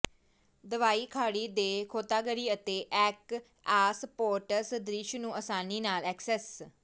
ਦਵਾਓ ਖਾੜੀ ਦੇ ਗੋਤਾਖੋਰੀ ਅਤੇ ਐਕੁਆਸਪੋਰਟਸ ਦ੍ਰਿਸ਼ ਨੂੰ ਅਸਾਨੀ ਨਾਲ ਐਕਸੈਸ